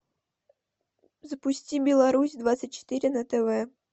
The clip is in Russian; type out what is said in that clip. запусти беларусь двадцать четыре на тв